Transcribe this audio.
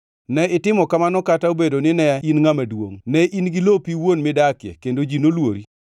ne itimo kamano kata obedo nine in ngʼama duongʼ, ne in gi lopi iwuon midakie, kendo ji noluori.